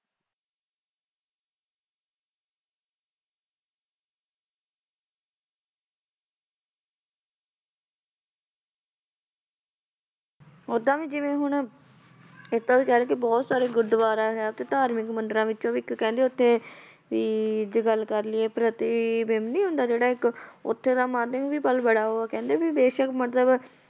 ਓਦਾਂ ਵੀ ਜਿਵੇਂ ਹੁਣ ਇੱਕ ਤਾਂ ਵੀ ਕਹਿ ਲਈਏ ਕਿ ਬਹੁਤ ਸਾਰੇ ਗੁਰੂਦੁਆਰਾ ਹੈ ਉੱਥੇ ਧਾਰਮਿਕ ਮੰਦਿਰਾਂ ਵਿੱਚੋਂ ਵੀ ਇੱਕ ਕਹਿੰਦੇ ਉੱਥੇ ਵੀ ਜੇ ਗੱਲ ਕਰ ਲਈਏ ਪ੍ਰਤੀਬਿੰਬ ਨੂੰ ਹੁੰਦਾ ਜਿਹੜਾ ਇੱਕ ਉੱਥੇ ਦਾ ਮੰਨਦੇ ਆ ਵੀ ਬੜਾ ਵਾ, ਕਹਿੰਦੇ ਵੀ ਬੇਸ਼ਕ ਮਤਲਬ